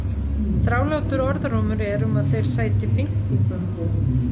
Þrálátur orðrómur er um að þeir sæti pyntingum.